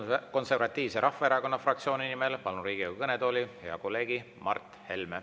Eesti Konservatiivse Rahvaerakonna fraktsiooni nimel palun Riigikogu kõnetooli hea kolleegi Mart Helme.